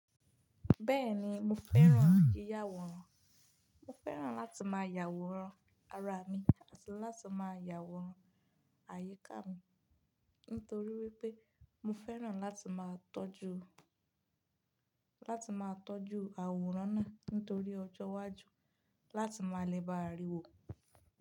Bẹ́ẹ̀ni mo fẹ́ràn yíyá àwòrán, mo fẹ́ràn láti máa yàwòrán ara mi àti láti máa yàwòrán àyíká mi nítorí wípé mo fẹ́ràn láti máa tọ́jú, láti máa tọ́jú àwòrán náà nítorí ọjọ́wájú láti máa lè ba à rí i wò.